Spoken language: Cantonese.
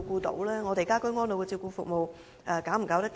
居家安老的照顧服務能否應付？